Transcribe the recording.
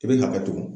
I bɛ ka bɛɛ tugu